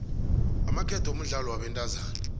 amaketo mudlalo wabentazana